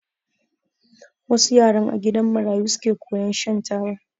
Wassu yaran a gidan marayu suke koyan shan taba